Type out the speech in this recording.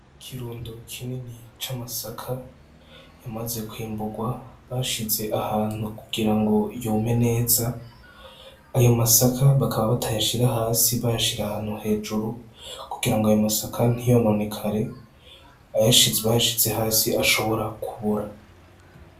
Ikirundo kinini c'amasaka yamaze kwimburwa bashize ahantu kugira ngo yome neza ayo masaka bakaba batayashira hasi bashira ahantu hejuru kugira ngo ayo masaka ntiyononekare ayashiz bashize hasi ashobora kubora.